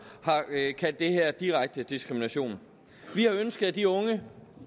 har kaldt det her direkte diskrimination vi har ønsket at de unge